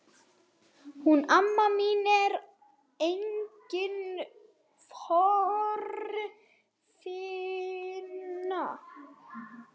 Hún amma mín er engin forynja.